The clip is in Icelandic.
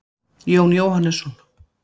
jón jóhannesson